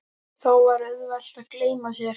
Þá var auðvelt að gleyma sér.